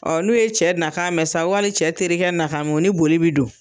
n'u ye cɛ na kan mɛn sa wali cɛ terikɛ na kan mɛ, u ni boli bi don